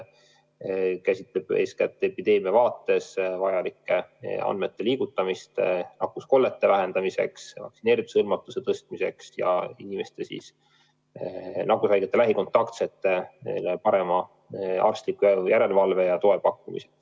See käsitleb eeskätt epideemia vaates vajalike andmete liigutamist nakkuskollete vähendamiseks, vaktsineerimisega hõlmatuse tõstmiseks ja nakkushaigete lähikontaktsete parema arstliku järelevalve ja toe huvides.